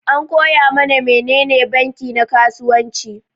An koya mana menene banki na kasuwanci.